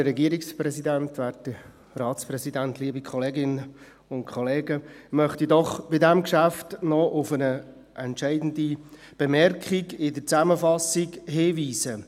Ich möchte bei diesem Geschäft noch auf eine entscheidende Bemerkung in der Zusammenfassung hinweisen: